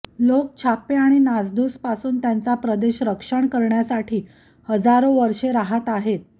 लोक छापे आणि नासधूस पासून त्यांचा प्रदेश रक्षण करण्यासाठी हजारो वर्षे राहात आहेत